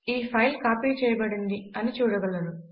ఈ file copy చేయబడింది అని చూడగలరు